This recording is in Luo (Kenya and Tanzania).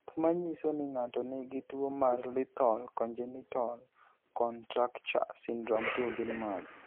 Gik manyiso ni ng'ato nigi tuwo mar Lethal congenital contracture syndrome 2 gin mage?